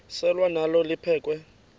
selwa nalo liphekhwe